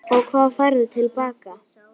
Og hvað færðu til baka?